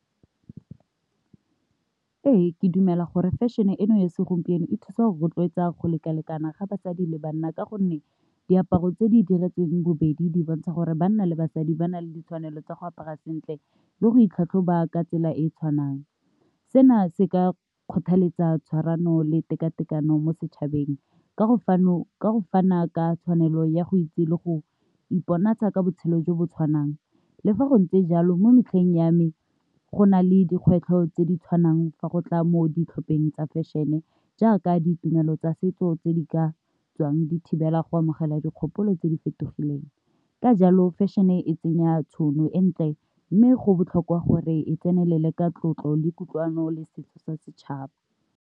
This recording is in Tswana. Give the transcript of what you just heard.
Ee, ke dumela gore fashion-e eno ya segompieno e thusa go rotloetsa go lekalekana ga basadi le banna ka gonne diaparo tse di diretsweng bobedi di bontsha gore banna le basadi ba na le ditshwanelo tsa go apara sentle le go itlhatlhoba ka tsela e e tshwanang. Sena se ka kgothaletsa tshwarano le tekatekano mo setšhabeng ka go fana ka tshwanelo ya go itse le go iponatsa ka botshelo jo bo tshwanang, le fa go ntse jalo, mo metlheng ya me go na le dikgwetlho tse di tshwanang fa go tla mo ditlhopheng tsa fashion-e, jaaka ditumelo tsa setso tse di ka tswang di thibela go amogela dikgopolo tse di fetogileng, ka jalo fashion-e tsenya tšhono entle, mme go botlhokwa gore e tsenelele ka tlotlo le kutlwano le setso sa setšhaba.